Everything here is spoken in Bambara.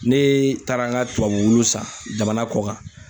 Ne taara n ka tubabu wulu san jamana kɔ kan.